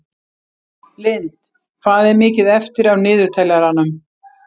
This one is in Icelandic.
Lind, hvað er mikið eftir af niðurteljaranum?